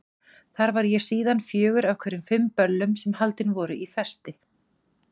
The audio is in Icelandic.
Það var ég síðan fjögur af hverjum fimm böllum sem haldin voru í Festi.